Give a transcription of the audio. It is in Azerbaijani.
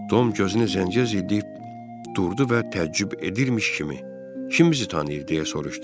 Tom gözünü zənciyə zilliyib durdu və təəccüb edirmiş kimi: Kim bizi tanıyır deyə soruşdu.